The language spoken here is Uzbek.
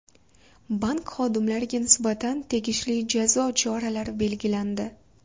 Bank xodimlariga nisbatan tegishli jazo choralari belgilandi.